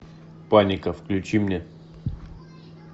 паника включи мне